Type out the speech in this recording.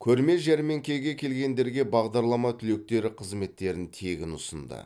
көрме жәрмеңкеге келгендерге бағдарлама түлектері қызметтерін тегін ұсынды